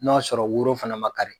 N'a sɔrɔ woro fana man kari.